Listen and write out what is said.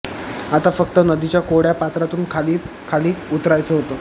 आता फक्त नदीच्या कोरडया पात्रातून खाली खाली उतरायचं होतं